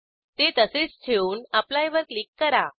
ते तसेच ठेवून एप्ली वर क्लिक करा